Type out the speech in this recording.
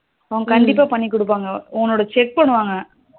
அவங்க கண்டிப்பா பண்ணி கொடுப்பாங்க ஒன்ன check பண்ணுவாங்க